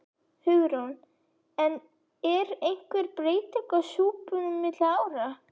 Hugrún: En er einhver breyting á súpunum milli ára?